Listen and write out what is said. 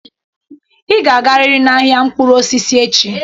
Ị ga-agarịrị n'ahịa mkpụrụ osisi echi!